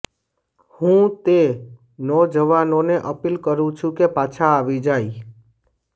હું તે નૌજવાનોને અપીલ કરુ છુ કે પાછા આવી જાય